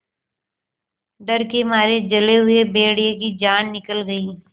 डर के मारे जले हुए भेड़िए की जान निकल गई